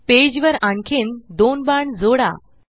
page वर आणखीन दोन बाण जोडा